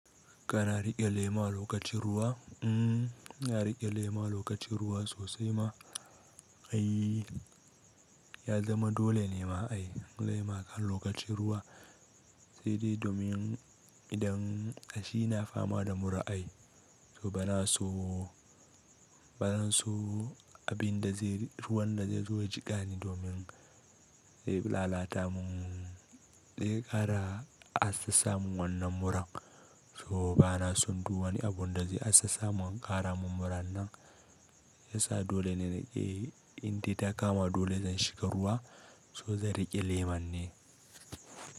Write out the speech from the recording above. Kana riƙe lema lokacin ruwa? Mm, ina riƙe laima lokacin ruwa sosai ma. Ai ya zama dole ne ma ai laima a lokacin ruwa, sai dai domin idan a shi na fama da mura ai. To bana so, bana so abin da zai, ruwan da zai zo ya jiƙa ni domin zai lalata mun, zai ƙara assasa min wannan muran. To bana son duk wani abun da zai assasa mun ƙara mun muran nan, shi ya sa dole ne na ƙi in dai ta kama dole zan shiga ruwa, to zan riƙe laiman ne.